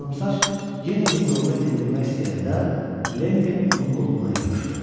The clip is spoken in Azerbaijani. Qıvrımsaç yenə yumruğunu endirmək istəyəndə, Lenni onun qolundan yapışdı.